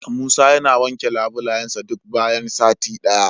Musa yana wanke labulayensa duk bayan sati daya.